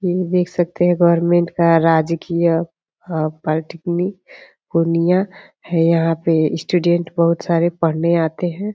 यह देख सकते हैं गवर्नमेंट का राजकीय पॉलिटेक्निक पूर्णिया है | यहाँ पे स्टूडेंट बहुत सारे पढ़ने आते हैं |